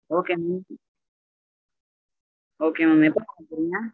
okay ங்க okay ங்க எப்போ வாங்க போறீங்க